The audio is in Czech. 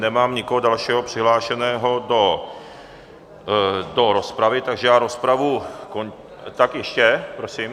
Nemám nikoho dalšího přihlášeného do rozpravy, takže já rozpravu... tak ještě, prosím.